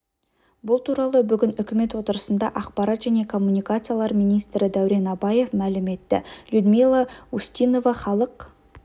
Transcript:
бұл туралы бүгін үкімет отырысында ақпарат және коммуникациялар министрі дәурен абаев мәлім етті людмила устинова халық